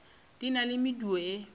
di na le medu e